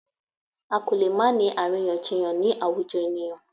A kò lè máà ńi àríyànjiyàn ni àwùjọ ènìyàn.